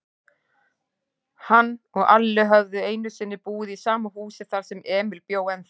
Hann og Alli höfðu einusinni búið í sama húsi, þar sem Emil bjó ennþá.